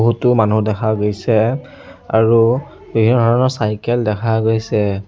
বহুতো মানুহ দেখা গৈছে আৰু চাইকেল দেখা গৈছে।